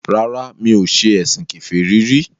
Rárá, mi ò ṣe ẹ̀sìn kèfèrí rí